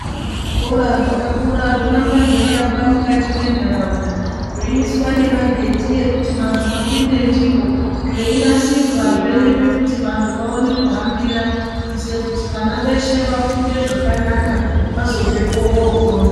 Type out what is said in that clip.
Zvikora zvakakura zvoramba zveiakwa mukati mwentaraunda. Zveiiswa nemagedhi ekuti vantu vapinde ndiwo. Zveinasirwazve nepekuti vantu vaone kuhambira. Kuitire kuti vana veshe vafunde zvakanaka, vazobvepo vookona.